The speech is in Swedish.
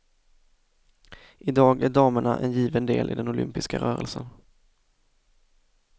I dag är damerna en given del i den olympiska rörelsen.